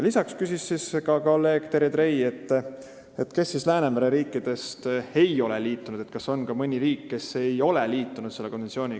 Lisaks küsis kolleeg Terje Trei, kes Läänemere riikidest ei ole konventsiooniga liitunud ehk kas on mõni riik, kes ei ole veel sellega ühinenud.